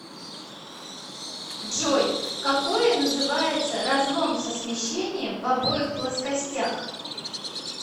джой какое называется разлом со смещением в обоих плоскостях